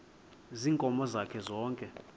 ziinkomo zakhe zonke